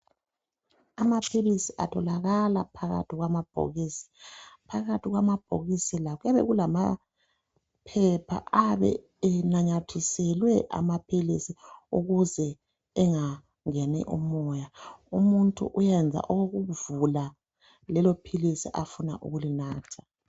Amaphilisi atholakala phakathi kwamabhokisi. Phakathi kwamabhokisi la kuyabe kulamaphepha ayabe enanyathiselwe amaphilisi ukuze engangeni umoya. Umuntu uyenza okokuvula lelophilisi afuna ukulinatha.